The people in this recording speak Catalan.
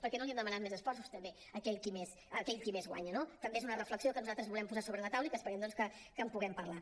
per què no li hem demanat més esforços també a aquell qui més guanya no també és una reflexió que nosaltres volem posar sobre la taula i que esperem doncs que en puguem parlar